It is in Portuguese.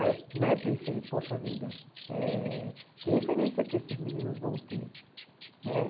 Aí eu né pensei, poxa vida, eh que referência que esses meninos vão ter né.